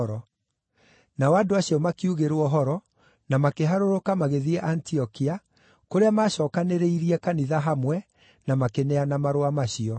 Nao andũ acio makiugĩrwo ũhoro, na makĩharũrũka magĩthiĩ Antiokia, kũrĩa maacookanĩrĩirie kanitha hamwe, na makĩneana marũa macio.